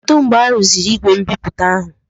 Kedụ mgbe arụziri igwe mbipụta ahụ?